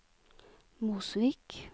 Mosvik